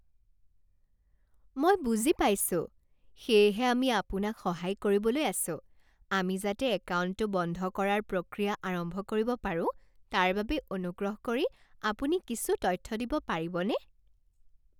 মই বুজি পাইছোঁ। সেয়েহে আমি আপোনাক সহায় কৰিবলৈ আছোঁ। আমি যাতে একাউণ্টটো বন্ধ কৰাৰ প্ৰক্ৰিয়া আৰম্ভ কৰিব পাৰো তাৰ বাবে অনুগ্ৰহ কৰি আপুনি কিছু তথ্য দিব পাৰিবনে?